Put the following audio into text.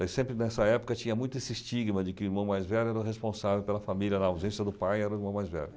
Mas sempre nessa época tinha muito esse estigma de que o irmão mais velho era o responsável pela família, na ausência do pai era o irmão mais velho.